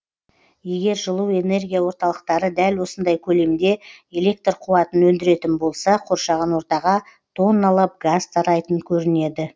егер жылу энергия орталықтары дәл осындай көлемде электр қуатын өндіретін болса қоршаған ортаға тонналап газ тарайтын көрінеді